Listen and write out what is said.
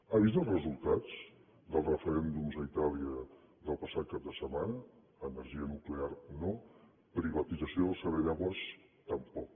ha vist els resultats dels referèndums a itàlia del passat cap de setmana energia nuclear no privatització del servei d’aigües tampoc